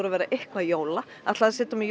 að vera eitthvað jóla ætlaði að setja á mig